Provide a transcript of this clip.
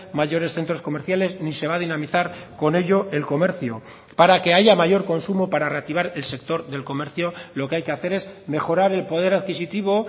mayores centros comerciales ni se va a dinamizar con ello el comercio para que haya mayor consumo para reactivar el sector del comercio lo que hay que hacer es mejorar el poder adquisitivo